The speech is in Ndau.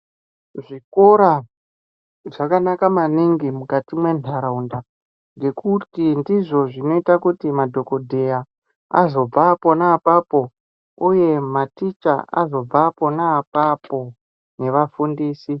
Zvikora zvakanaka maningi mukati mentaraunda. Ngekuti ndizvo zvinoita kuti madhogodheya azobva pona apapo, uye maticha azobva pona apapo nevafundisi.